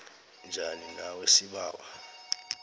njani nawe sibawa